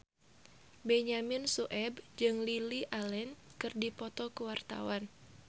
Benyamin Sueb jeung Lily Allen keur dipoto ku wartawan